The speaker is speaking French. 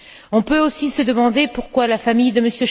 On peut aussi se demander pourquoi la famille de M.